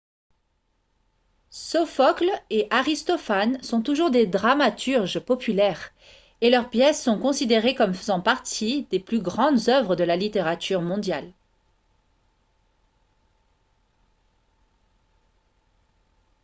sophocle et aristophane sont toujours des dramaturges populaires et leurs pièces sont considérées comme faisant partie des plus grandes œuvres de la littérature mondiale